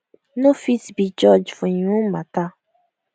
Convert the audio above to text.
no fit be judge for im own matter